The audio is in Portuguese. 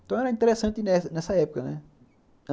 Então, era interessante nessa nessa época, né?